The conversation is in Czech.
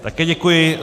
Také děkuji.